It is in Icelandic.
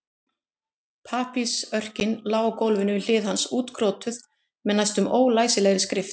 Pappírsörkin lá á gólfinu við hlið hans útkrotuð með næstum ólæsilegri skrift.